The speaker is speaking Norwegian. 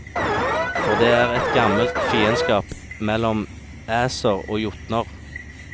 For det er et gammelt fiendskap mellom æser og jotner.